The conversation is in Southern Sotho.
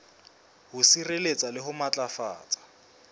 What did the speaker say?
ho sireletsa le ho matlafatsa